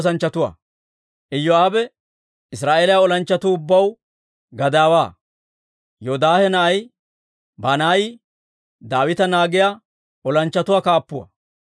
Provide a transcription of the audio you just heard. Iyoo'aabe Israa'eeliyaa olanchchatuu ubbaw gadaawaa; Yoodaahe na'ay Banaayi Daawita naagiyaa olanchchatuu kaappuwaa.